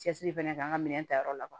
Cɛsiri fɛnɛ kɛ an ka minɛn ta yɔrɔ la